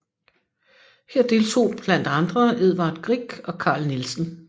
Her deltog blandt andre Edvard Grieg og Carl Nielsen